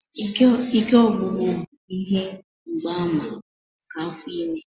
Ike ọgwụgwụ bụ ihe mgbaàmà nke afọ ime.